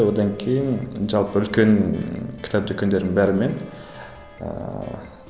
одан кейін жалпы үлкен кітап дүкендердің бәрімен ыыы